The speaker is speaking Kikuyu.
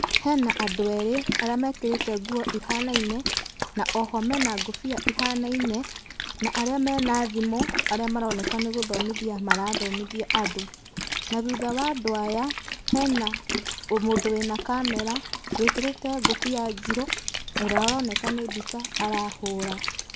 Hena andũ erĩ arĩa mekĩrĩte nguo ihanaine, na oho mena ngũbia ihanaine, na arĩa mena thimũ, arĩa maroneka nĩgũthomithia marathomithia andũ. Na thutha wa andũ aya, hena mũndũ wĩna camera, wĩkĩrĩte ngũbia njirũ, ũrĩa aroneka nĩ mbica arahũra.